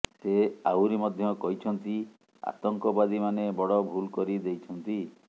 ସେ ଆହୁରି ମଧ୍ୟ କହିଛନ୍ତି ଆତଙ୍କବାଦୀମାନେ ବଡ଼ ଭୁଲ୍ କରି ଦେଇଛନ୍ତି